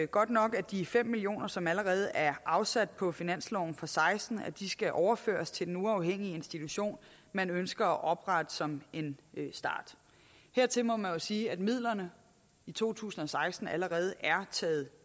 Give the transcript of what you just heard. godt nok at de fem millioner som allerede er afsat på finansloven og seksten skal overføres til den uafhængige institution man ønsker at oprette som en start hertil må man jo sige at midlerne i to tusind og seksten allerede er taget